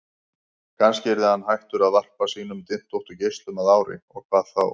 Kannski yrði hann hættur að varpa sínum dyntóttu geislum að ári, og hvað þá?